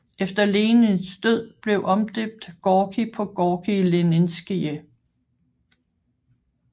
Efter Lenins død blev omdøbt Gorki på Gorki Leninskije